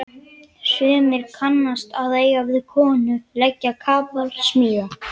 Sumir kannski að eiga við konu, leggja kapal, smíða.